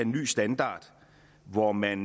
ny standard hvor man